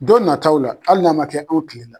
Don nataw la hali n'a man kɛ anw kile la.